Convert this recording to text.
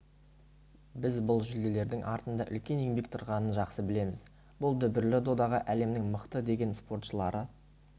біз бұл жүлделердің артында үлкен еңбек тұрғанын жақсы білеміз бұл дүбірлі додаға әлемнің мықты деген спортшылары